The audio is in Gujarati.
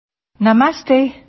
audio UNESCO DG